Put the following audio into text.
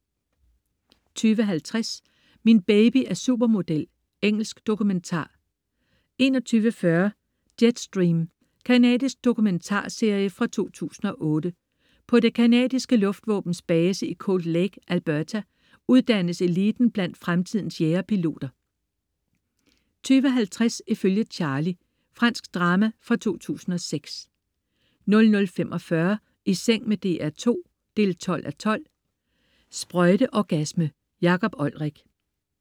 20.50 Min baby er supermodel. Engelsk dokumentar 21.40 Jetstream. Canadisk dokumentarserie fra 2008. På det canadiske luftvåbens base i Cold Lake, Alberta, uddannes eliten blandt fremtidens jagerpiloter 22.50 Ifølge Charlie. Fransk drama fra 2006 00.45 I seng med DR2 12:12. Sprøjteorgasme. Jakob Olrik